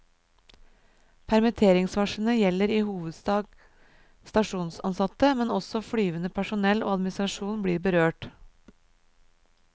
Permitteringsvarslene gjelder i hovedsak stasjonsansatte, men også flyvende personell og administrasjon blir berørt.